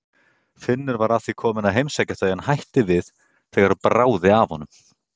Finnur var að því kominn að heimsækja þau en hætti við þegar bráði af honum.